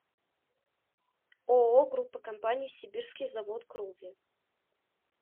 ооо группа компаний сибирский завод кровли